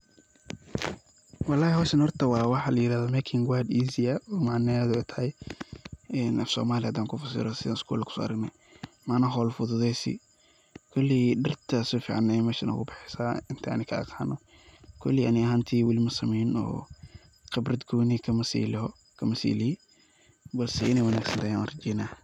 wallahi hoshan horta waa waxa la yirahdo making work easier macnaheeda ay tahay afsoomali hadan kufasiro sidan isgul kusoo aragne macnah hol fududeysi, koley dhirta si fican ayay meshan oga baxeysa intan aniga ka aqaano, koley ani ahantey weli masameyni oo qibrad gooni kamasi lihii balse inay wanaagsanat ayan urajeyna